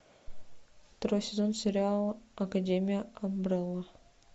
второй сезон сериала академия амбрелла